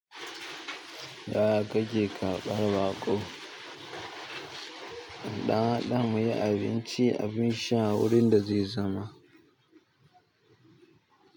Yaya kake karɓar baƙo? Na haɗa mai abinci abinsha wurin dazai zauna.